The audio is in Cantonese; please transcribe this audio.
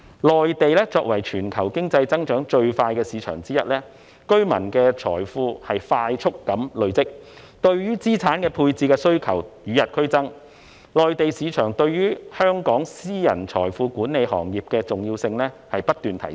內地作為全球經濟增長最快的市場之一，居民的財富快速累積，對於資產配置的需求與日俱增，內地市場對於香港私人財富管理行業的重要性不斷提升。